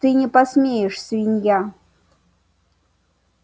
ты не посмеешь свинья